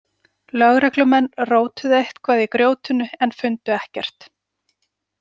Lögreglumenn rótuðu eitthvað í grjótinu en fundu ekkert.